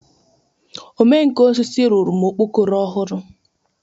Ome nka osisi rụrụ m okpokoro ọhụrụ.